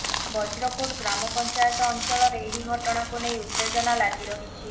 ବଜ୍ରକୋଟ ଗ୍ରାମପଂଚାୟତ ଅଂଚଳରେ ଏହି ଘଟଣାକୁ ନେଇ ଉତ୍ତେଜନା ଲାଗି ରହିଛି